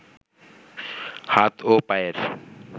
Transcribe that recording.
হাত ও পায়ের